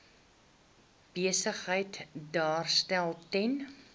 besigheid daarstel ten